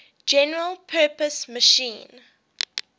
general purpose machine